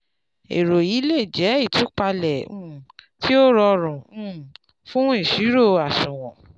èrò yìí le jẹ́ jẹ́ ìtúpalẹ̀ um tí ó rọrùn um fún ìṣirò àṣùwọ̀n